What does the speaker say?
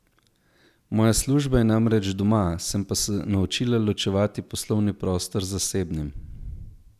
Moja služba je namreč doma, sem se pa naučila ločevati poslovni prostor z zasebnim.